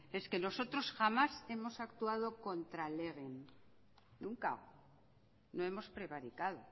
es que nosotros jamás hemos actuado contra legem nunca no hemos prevaricado